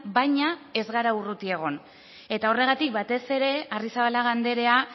baina ez gara urruti egon eta horregatik batez ere arrizabalaga andrea